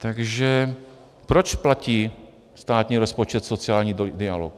Takže proč platí státní rozpočet sociální dialog?